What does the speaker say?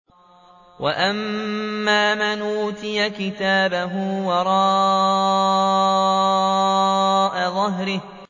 وَأَمَّا مَنْ أُوتِيَ كِتَابَهُ وَرَاءَ ظَهْرِهِ